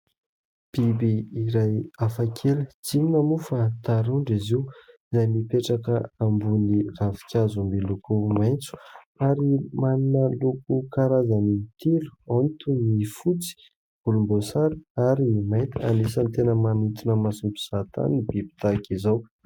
Biby iray hafakely, tsy inona moa fa tarondro izy io izay mipetraka ambony ravinkazo miloko maitso ary manana loko karazany telo. Ao ny toy ny fotsy, volomboasary ary ny mainty. Anisan'ny tena manintona mason'ny mpizahantany ny biby tahaka izao.